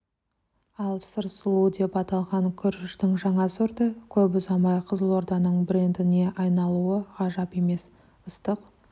ал сыр сұлуы деп аталған күріштің жаңа сорты көп ұзамай қызылорданың брэндіне айналуы ғажап емес ыстық